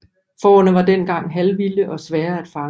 Fårene var dengang halvvilde og svære at fange